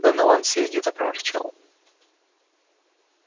донован сердито проворчал